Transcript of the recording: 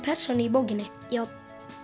persónu í bókinni já